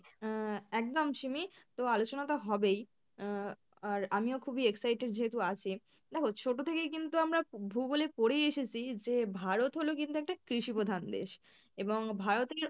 আহ একদম সিমি, তো আলোচনা তো হবেই আহ আর আমিও খুবই excited যেহেতু আছি দেখো ছোটো থেকেই কিন্তু আমরা ভূগোলে পড়ে এসেছি যে ভারত হলো কিন্তু একটা কৃষিপ্রধান দেশ এবং ভারতের